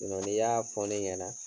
n'i y'a fɔ ne ɲɛna